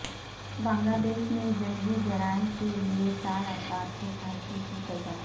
بنگلہ دیش میں جنگی جرائم کےلئے چار افراد کو پھانسی کی سزا